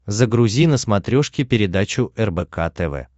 загрузи на смотрешке передачу рбк тв